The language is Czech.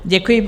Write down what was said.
Děkuji.